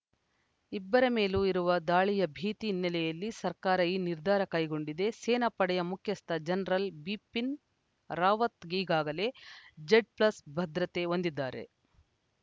ಇಬ್ಬರ ಮೇಲೂ ಇರುವ ದಾಳಿಯ ಭೀತಿ ಹಿನ್ನೆಲೆಯಲ್ಲಿ ಸರ್ಕಾರ ಈ ನಿರ್ಧಾ ರ ಕೈಗೊಂಡಿದೆ ಸೇನಾ ಪಡೆಯ ಮುಖ್ಯಸ್ಥ ಜನರಲ್‌ ಬಿಪಿನ್‌ ರಾವತ್‌ ಈಗಾಗಲೇ ಝಡ್‌ ಪ್ಲಸ್‌ ಭದ್ರತೆ ಹೊಂದಿದ್ದಾರೆ